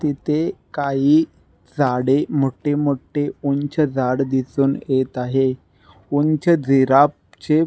तिथे काही झाडे मोठे मोठे उंच झाड दिसुन येत आहे उंच जिराफ चे --